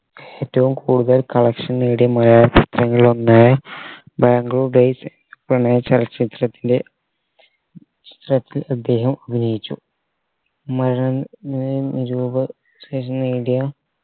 ഏറ്റവും കൂടുതൽ collection നേടിയ മലയാള ചിത്രങ്ങളിൽ ഒന്ന് ബാംഗ്ലൂർ days പ്രണയ ചലച്ചിത്രത്തിന്റെ അദ്ദേഹം അഭിനയിച്ചു നിരൂപ നേടിയ